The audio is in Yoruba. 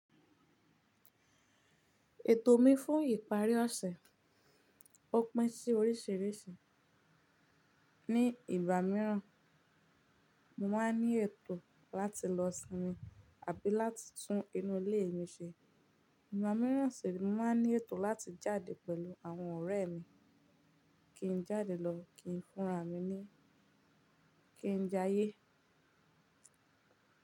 Ètò mi fún ìparí ọ̀sẹ̀, ó pín sí oríṣìíríṣìí. Ni ìgbà míràn, mo máa ń ní ètò láti lọ sinmi àbí láti tún inú ilé mi ṣe. Ìgbà míràn sìni, mo máa ń ní ètò láti jáde pẹ̀lú àwọn ọ̀rẹ́ mi, kí n jáde lọ, kí n fúnra mi ni, kí n jayé.